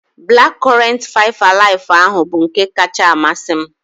Black current five alive ahụ bụ nke kacha amasị m